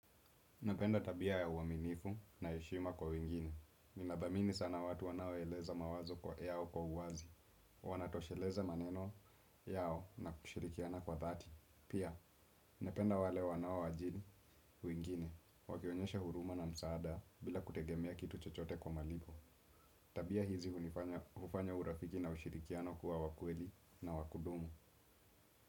Napenda tabia ya uaminifu na heshima kwa wengine. Nina dhamini sana watu wanaoeleza mawazo yao kwa uwazi. Wanatosheleza maneno yao na kushirikiana kwa dhati. Pia, napenda wale wanao ajiri, wengine, wakionyeshe huruma na msaada bila kutegemea kitu chochote kwa malipo. Tabia hizi hufanya urafiki na ushirikiano kuwa wa kweli na wakudumu.